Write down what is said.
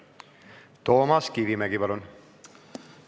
Toomas Kivimägi, palun!